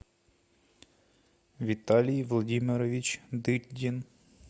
виталий владимирович дыбдин